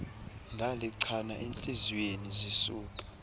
ndalichana entliziyweni zisuka